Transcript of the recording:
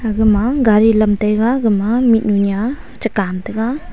aga ma garI lam taiga aga ma mihnu niya chega am taiga.